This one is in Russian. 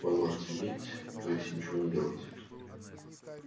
он может сидеть то есть ничего не делать